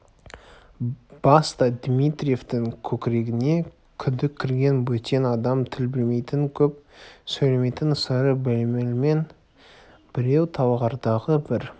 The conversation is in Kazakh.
баста дмитриевтің көкірегіне күдік кірген бөтен адам тіл білмейтін көп сөйлемейтін сыры беймәлім біреу талғардағы бір